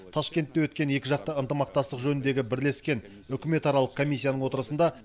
ташкентте өткен екіжақты ынтымақтастық жөніндегі бірлескен үкіметаралық комиссияның отырысында